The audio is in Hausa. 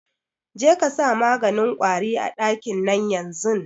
Jekasa maganin kwari a ɗakin nan yanzun